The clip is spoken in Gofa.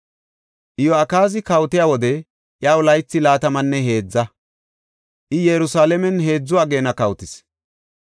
Iyo7akaazi kawotiya wode iyaw laythi laatamanne heedza; I Yerusalaamen heedzu ageena kawotis.